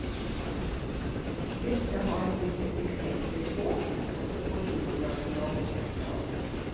Dette har vi sett eksempler på, også på internasjonalt topplan.